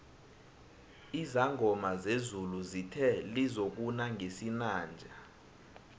izangoma zezulu zithe lizokuna ngesinanje